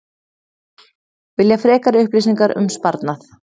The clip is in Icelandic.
Vilja frekari upplýsingar um sparnað